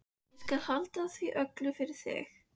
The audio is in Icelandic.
Ég skal halda því öllu fyrir mig.